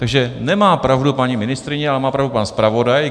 Takže nemá pravdu paní ministryně, ale má pravdu pan zpravodaj.